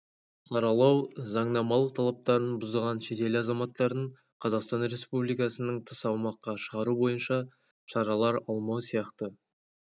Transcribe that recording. саралау заңнамалық талаптарын бұзған шетел азаматтарын қазақстан республикасынан тыс аумаққа шығару бойынша шаралар алмау сияқты